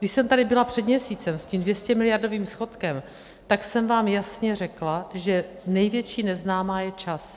Když jsem tady byla před měsícem s tím 200miliardovým schodkem, tak jsem vám jasně řekla, že největší neznámá je čas.